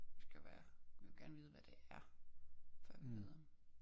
Skal være vi vil gerne hvad det er før vi ved om